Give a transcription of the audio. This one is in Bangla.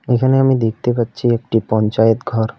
এখানে আমি দেখতে পাচ্ছি একটি পঞ্চায়েত ঘর।